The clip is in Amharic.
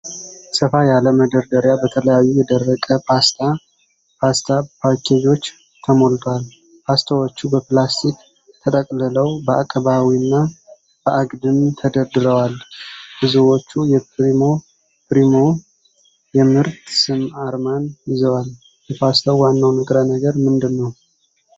ሰፋ ያለ መደርደሪያ በተለያዩ የደረቀ ፓስታ (ፓስታ) ፓኬጆች ተሞልቷል ። ፓስታዎቹ በፕላስቲክ ተጠቅልለው በአቀባዊና በአግድም ተደርድረዋል ። ብዙዎቹ የፕሪሞ (ፕሪሞ) የምርት ስም አርማን ይዘዋል። የፓስታ ዋናው ንጥረ ነገር ምንድን ነው?